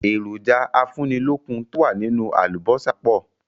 Èròjà afúnilókun to wá nínú àlùbósà pọ̀